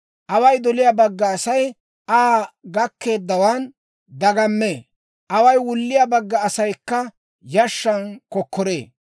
Away doliyaa bagga Asay Aa gakkeeddawaan dagammee; away wulliyaa bagga asaykka yashshan kokkoree.